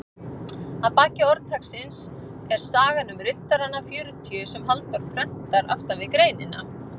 Að baki orðtaksins er sagan um riddarana fjörutíu sem Halldór prentar aftan við greinina.